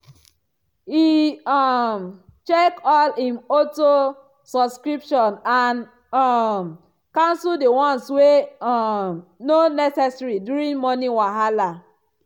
e um check all him auto-subscription and um cancel the ones wey um no necessary during money wahala